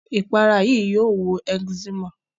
Ìpara yìí yio wo eczema